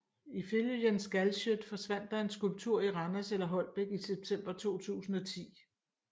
Ifølge Jens Galschiøt forsvandt der en skulptur i Randers eller Holbæk i september 2010